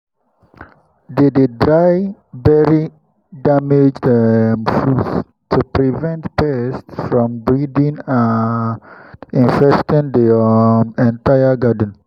they dey bury damaged um fruits to prevent pests from breeding and infesting the um entire garden.